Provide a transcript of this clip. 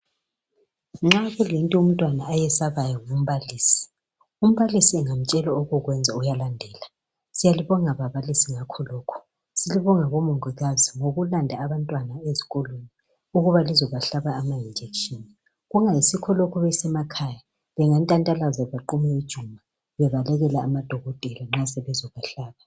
nxa kulento umntwana ayesabayo ngumbalisi umbalisi engamtshela okokwenza uyalandela siyalibonga bababalisi ngakho lokho siyalibonga bo mongikazi ngokulanda abantwana ezikolweni ukuba lizobahlaba ama injection kungayisikho lokho besemakhaya bangantantalaza baqume ijuma bebalekela amadokotela nxa sebezobahlaba